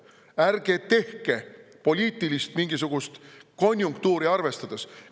Ärge mingisugust poliitilist konjunktuuri arvestades!